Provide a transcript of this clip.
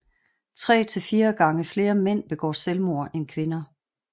Tre til fire gange flere mænd begår selvmord end kvinder